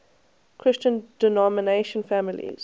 christian denominational families